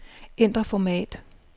Ændr format.